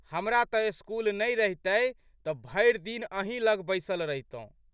हमरा तऽ स्कूल नहि रहितए तऽ भरि दिन अहीं लग बैसल रहितौं।